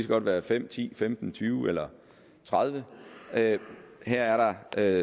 godt være fem ti femten tyve eller tredivete her er der